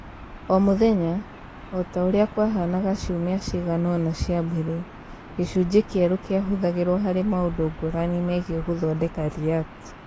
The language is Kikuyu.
O mũthenya, o ta ũrĩa kwahaanaga ciumia cigana ũna cia mbere, gĩcunjĩ kĩerũ kĩahũthagĩrũo harĩ maũndũ ngũrani megiĩ gũthondeka React.